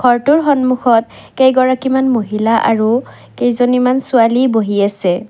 টোৰ সন্মুখত কেইগৰাকী মান মহিলা আৰু কেইজনী মান ছোৱালী বহি আছে।